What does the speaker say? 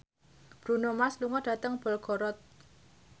Bruno Mars lunga dhateng Belgorod